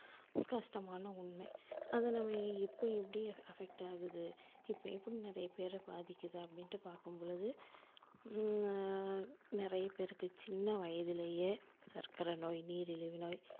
கஷ்டமான உண்மை. அதை நம்ம எப்ப எப்படி affect ஆகுது இப்போ எப்படி நிறைய பேர பாதிக்குது அப்படின்னு பாக்கும்பொழுது உம் நிறைய பேருக்கு சின்ன வயதுலையே சர்க்கரைநோய், நீரிழிவுநோய்,